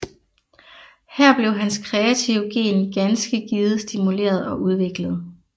Her blev hans kreative gen ganske givet stimuleret og udviklet